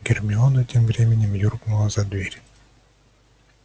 гермиона тем временем юркнула за дверь